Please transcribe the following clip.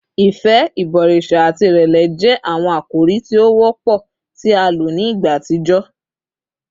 Ifẹ, ibọriṣa ati irẹlẹ jẹ awọn akori ti o wọpọ ti a lo ni igba atijọ